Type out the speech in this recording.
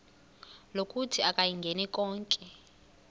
lokuthi akayingeni konke